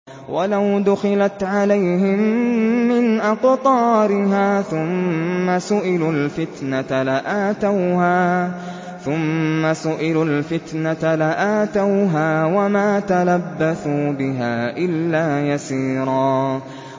وَلَوْ دُخِلَتْ عَلَيْهِم مِّنْ أَقْطَارِهَا ثُمَّ سُئِلُوا الْفِتْنَةَ لَآتَوْهَا وَمَا تَلَبَّثُوا بِهَا إِلَّا يَسِيرًا